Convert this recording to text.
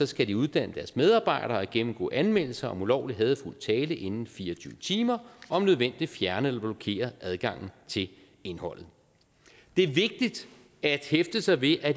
skal de uddanne deres medarbejdere og gennemgå anmeldelser om ulovlig hadefuld tale inden fire og tyve timer og om nødvendigt fjerne eller blokere adgangen til indholdet det er vigtigt at hæfte sig ved at